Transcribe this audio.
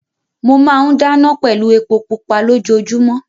Mo máa ń dáná pẹ̀lú epo pupa lójoojúmọ́.